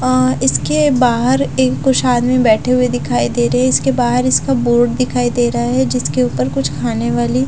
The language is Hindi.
अ इसके बाहर ए कुछ आदमी बैठे हुए दिखाई दे रहे इसके बाहर इसका बोर्ड दिखाई दे रहा है जिसके ऊपर कुछ खाने वाली --